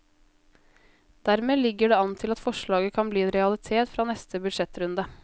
Dermed ligger det an til at forslaget kan bli en realitet fra neste budsjettrunde.